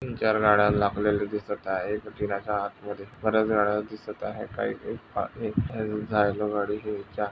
तीन चार गाड्या लावलेली दिसत आहे. जिन्याच्या आतमध्ये बऱ्याच गाड्या दिसत आहेत. काही एक गाडीच्या --